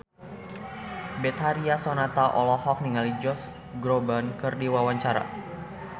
Betharia Sonata olohok ningali Josh Groban keur diwawancara